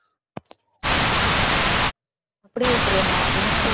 அப்படி இல்ல பிரியங்கா அப்படின்னா வந்து